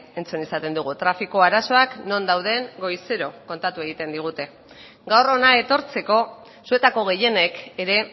entzun izaten dugu trafiko arazoak non dauden goizero kontatu egiten digute gaur hona etortzeko zuetako gehienek ere